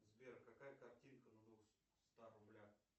сбер какая картинка на двухстах рублях